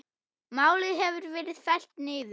Málið hefur verið fellt niður.